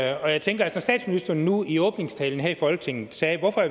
jeg tænker at når statsministeren nu i åbningstalen her i folketinget sagde hvornår